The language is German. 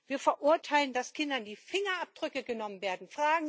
Wir verurteilen, dass Kindern die Fingerabdrücke genommen werden.